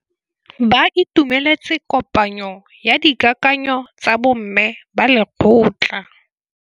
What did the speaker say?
Ba itumeletse kôpanyo ya dikakanyô tsa bo mme ba lekgotla.